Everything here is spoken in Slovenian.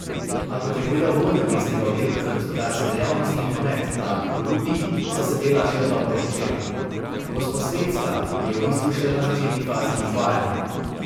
A kot je povedal vodja mestnega oddelka za gospodarske dejavnosti in promet David Polutnik, so se dela šele dobro pričela: "Gosposvetska je v bistvu šele na začetni fazi izvajanja.